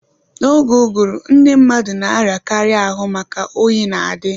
Na-oge uguru ndị mmadụ na-arịa karị ahụ maka oyi na-adi